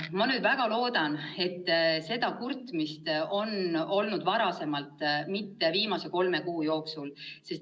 " Ma nüüd väga loodan, et sellist kurtmist on ette tulnud varem, mitte viimase kolme kuu jooksul.